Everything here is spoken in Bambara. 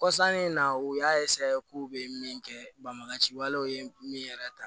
Kɔsannin in na u y'a k'u bɛ min kɛ banbagaci walew ye min yɛrɛ ta